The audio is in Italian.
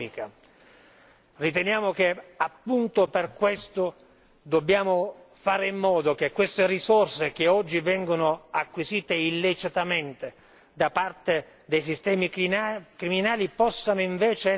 Riteniamo che, appunto per questo, dobbiamo fare in modo che queste risorse che oggi vengono acquisite illecitamente da parte dei sistemi criminali possano invece essere recuperate.